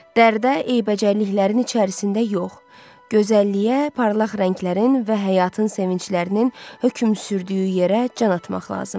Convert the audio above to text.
Dərdə, eybəcərliklərin içərisində yox, gözəlliyə, parlaq rənglərin və həyatın sevinclərinin hökm sürdüyü yerə can atmaq lazımdır.